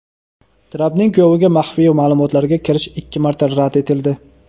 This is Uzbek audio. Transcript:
Trampning kuyoviga maxfiy ma’lumotlarga kirish ikki marta rad etildi.